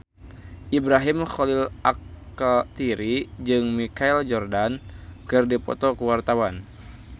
Ibrahim Khalil Alkatiri jeung Michael Jordan keur dipoto ku wartawan